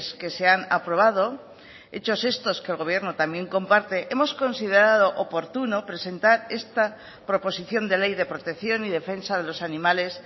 que se han aprobado hechos estos que el gobierno también comparte hemos considerado oportuno presentar esta proposición de ley de protección y defensa de los animales